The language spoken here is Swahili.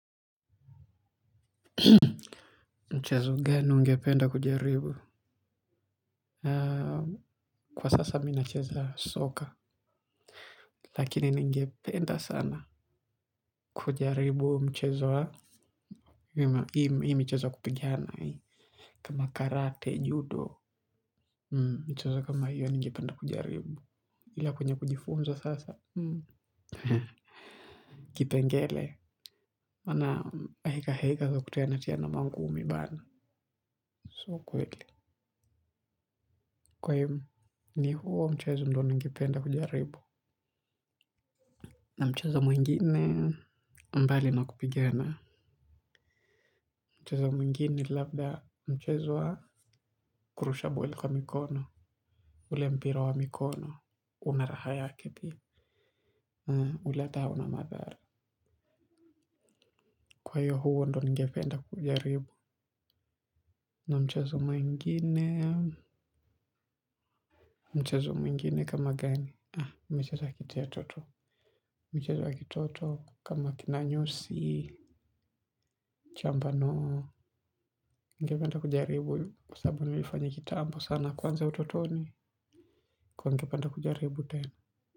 Mchezo, gani ungependa kujaribu? Kwa sasa, mi nacheza soka. Lakini ningependa sana kujaribu mchezo wa. Hima ime cheza kupigiana hii. Kama karate, judo, mchezo kama hiyo ningependa kujaribu. Ila kwenye kujifunza sasa. Kipengele maana hekaheka za kutianatiana mangumi bana. Sio kweli. Kwa iyo ni huo mchezo ndo ningependa kujaribu. Na mchezo mwingine, mbali na kupigana. Mchezo mwingine, labda mchezo kurushabueli kwa mikono. Ule mpira wa mikono. Unaraha yake pia. Ule ata hauna madhara. Kwa hiyo huo ndo ningependa kujaribu. Na mchezo mwingine, mchezo mwingine kama gani. Ha, mchezo ya kitia to tu. Michezo ya kitoto kama kinanyusi mchambanuo. Ningependa kujaribu, kwa sababu nilifanya kitambo sana. Na kwanza utotoni kwa ningependa kujaribu tenu.